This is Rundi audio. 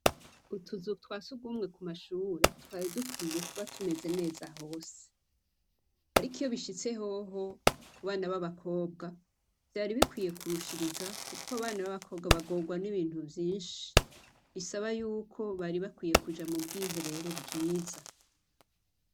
Utuzu twa sugumwe ku mashure twari dukwiye kuba tumeze neza hose. Ariko iyo bishitse hoho ku bana b'abakobwa vyari bikwiye kurushiriza kuko abana b'abakobwa bagorwa n'ibintu vyinshi, bisaba yuko bari bakwiye kuja mu bwiherero bwiza.